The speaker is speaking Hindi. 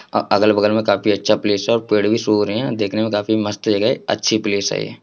अगल-बगल में काफी अच्छा प्लेस और पेड़ भी सूख रहे हैं और दिखने में काफी मस्त जगह हैं अच्छी प्लेस हैं।